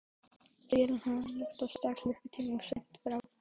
Hvernig er hægt að skipuleggja jafn flókinn atburð svo nákvæmlega?